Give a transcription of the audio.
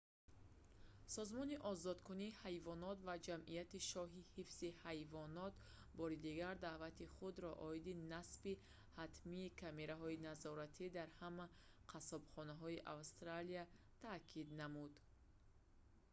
созмони озодкунии ҳайвонот ва ҷамъияти шоҳии ҳифзи ҳайвонот rspca бори дигар даъвати худро оиди насби ҳатмии камераҳои назоратӣ дар ҳама қассобхонаҳои австралия таъкид намуд